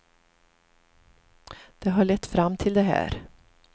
Det har lett fram till det här.